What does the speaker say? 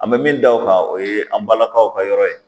An bɛ min da o kan o ye an balakaw ka yɔrɔ ye